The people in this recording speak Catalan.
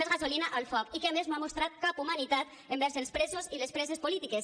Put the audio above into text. més gasolina al foc i que a més no han mostrat cap humanitat envers els presos i les preses polítiques